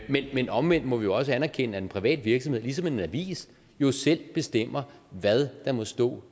men omvendt må vi jo også anerkende at en privat virksomhed ligesom en avis jo selv bestemmer hvad der må stå